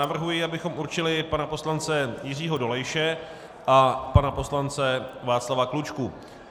Navrhuji, abychom určili pana poslance Jiřího Dolejše a pana poslance Václava Klučku.